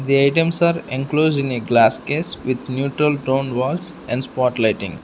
the items are enclosed in a glass case with neutral tone walls and spot lighting.